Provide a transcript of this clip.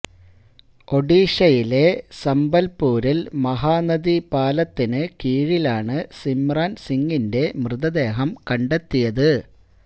ഓഡീഷയിലെ സംബൽപൂരിൽ മഹാനദി പാലത്തിന് കീഴിലാണ് സിംമ്രാൻ സിംഗിന്റെ മൃതദേഹം കണ്ടെത്തിയത്